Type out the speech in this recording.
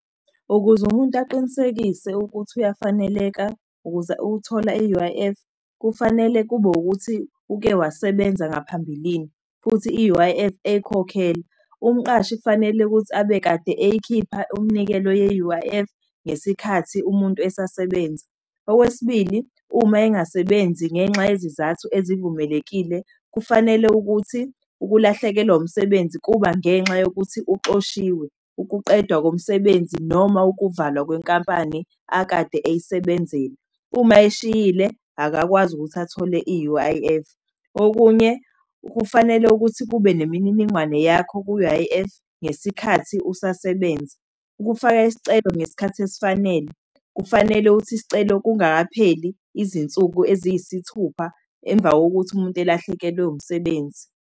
Ukuze umuntu aqinisekise ukuthi uyafaneleka ukuze ukuthola i-U_I_F, kufanele kube ukuthi uke wasebenza ngaphambilini, futhi i-U_I_F eyikhokhela. Umqashi kufanele ukuthi abe kade eyikhipha umnikelo ye-U_I_F ngesikhathi umuntu esasebenza. Okwesibili, uma engasebenzi ngenxa yezizathu ezivumelekile, kufanele ukuthi ukulahlekelwa umsebenzi kuba ngenxa yokuthi uxoshiwe, ukuqeda komsebenzi, noma ukuvalwa kwenkampani akade eyisebenzela. Uma eyishiyile akakwazi ukuthi athole i-U_I_F. Okunye, kufanele ukuthi kube nemininingwane yakho ku-U_I_F ngesikhathi usasebenza. Ukufaka isicelo ngesikhathi esifanele, kufanele ukuthi isicelo kungakapheli izinsuku eziyisithupha emva wokuthi umuntu elahlekelwe umsebenzi.